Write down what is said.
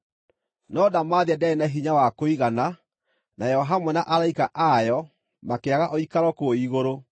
No ndamathia ndĩarĩ na hinya wa kũigana, nayo hamwe na araika ayo makĩaga ũikaro kũu igũrũ.